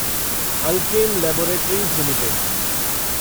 Alkem laboratories limited